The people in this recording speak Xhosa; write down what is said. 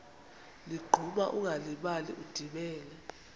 ligquma ungalibali udibene